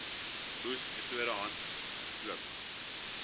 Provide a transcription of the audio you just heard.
oes metode handpluk